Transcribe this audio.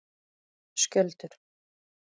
Skjöldur